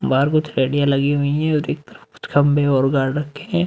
बाहर कुछ लगी हुई हैं और एक तरफ कुछ खम्भे और ।